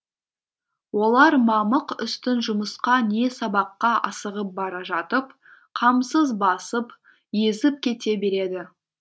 олар мамық үстін жұмысқа не сабаққа асығып бара жатып қамсыз басып езіп кете береді